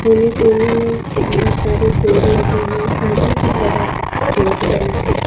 कोने कोने में बोहोत सारे पेड़ लगे हैं आगे की तरफ गेट बना है।